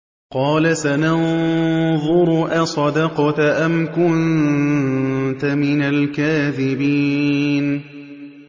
۞ قَالَ سَنَنظُرُ أَصَدَقْتَ أَمْ كُنتَ مِنَ الْكَاذِبِينَ